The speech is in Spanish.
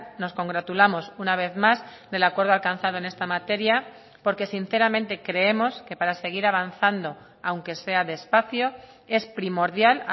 nos congratulamos una vez más del acuerdo alcanzado en esta materia porque sinceramente creemos que para seguir avanzando aunque sea despacio es primordial